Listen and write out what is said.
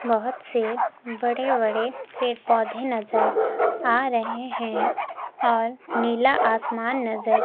बहोत से बड़े बड़े के पौधे नजर आ रहे हैं और नीला आसमान नजर--